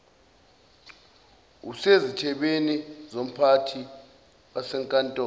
ususezithebeni zomphathi wasenkantolo